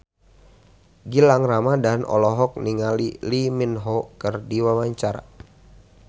Gilang Ramadan olohok ningali Lee Min Ho keur diwawancara